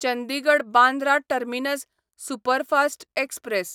Chandigarh Bandra terminus superfast express